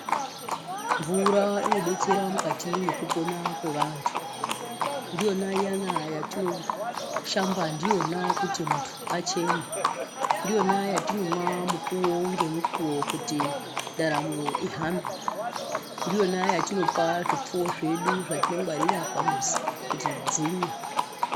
Mvura inodetsera mukati mwekupona kwevantu ndiyona iyana yatinoshamba ndiyona kuti muntu achene , ndiyona yatinomwa mukuwo ngemukuwo kuti ndaramo ihambwe, ndiyona yatinopa zvipfuyo zvedu zvatinongwarira pamuzi kuti dzimwe.